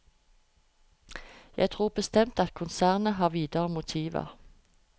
Jeg tror bestemt at konsernet har videre motiver.